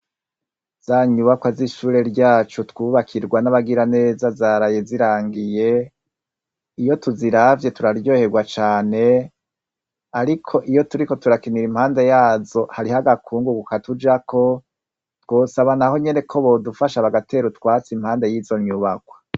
Zanyubakwa z'ishure ryacu twubakirwa n'abagira neza zaraye zirangiye, iyo tuziravye turaryoherwa cane, ariko iyo turiko turakinira impande yazo hariho agakungugu katujako, twosaba naho nyene ko bodufasha bagatera utwatsi impande y'izo nyubakwa .